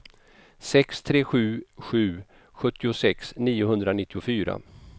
sex tre sju sju sjuttiosex niohundranittiofyra